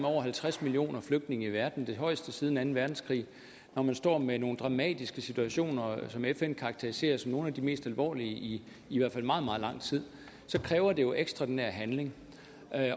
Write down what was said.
over halvtreds millioner flygtninge i verden det højeste antal siden anden verdenskrig når man står med nogle dramatiske situationer som fn karakteriserer som nogle af de mest alvorlige i i hvert fald meget meget lang tid så kræver det jo ekstraordinær handling